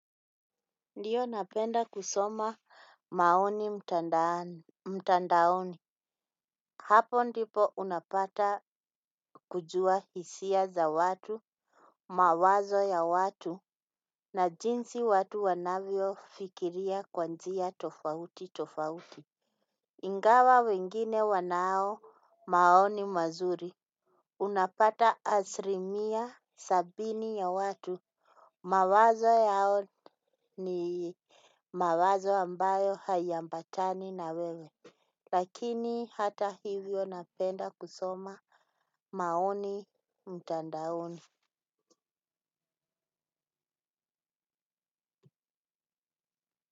Ndio, napenda kusoma maoni mtandaoni. Hapo ndipo unapata kujua hisia za watu, mawazo ya watu, na jinsi watu wanavyofikiria kwa njia tofauti tofauti. Ingawa wengine wanao maoni mazuri. Unapata asilimia sabini ya watu, mawazo yao ni mawazo ambayo hayaambatani na wewe. Lakini hata hivyo napenda kusoma maoni mtandaoni.